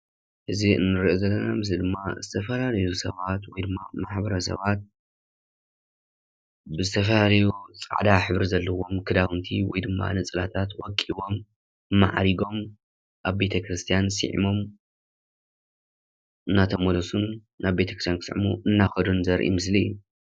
እዚ ንሪኦ ዘለና ምስሊ ድማ ዝተፈላለዩ ሰባት ወይ ድማ ማሕበረ ሰባት ብዝተፈላለዩ ፃዕዳ ሕብሪ ዘለዎም ክዳውንቲ ወይ ድማ ነፀላታት ወቂቦም፣ ማዕሪጎም ኣብ ቤተ ክርስቲያን ስዒሞም እናተመለሱን ናብ ቤተ ክርስቲያን ክስዕሙ እናኸዱን ዘርኢ ምስሊ እዩ፡፡